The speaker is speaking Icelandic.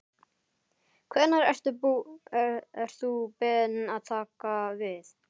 Hvenær ert þú beðinn að taka við?